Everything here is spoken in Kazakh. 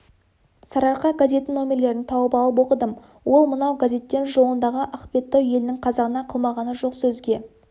сарыарқа газетінің нөмірлерін тауып алып оқыдым ол мынау газеттен жолындағы ақбеттау елінің қазағына қылмағаны жоқ сөзге